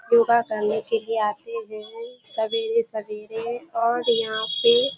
योगा करने के लिए आते हैं सबेरे-सबेरे और यहाँ पे --